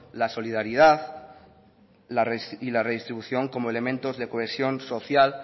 la solidaridad y la redistribución como elementos de cohesión social